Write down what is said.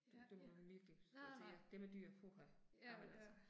Ja, ja. Nej nej, ja, ja